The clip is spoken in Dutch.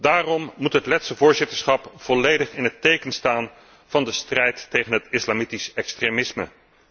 Daarom moet het Letse voorzitterschap volledig in het teken staan van de strijd tegen het islamitisch extremisme.